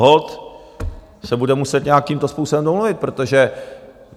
Holt se bude muset nějakým způsobem domluvit, protože...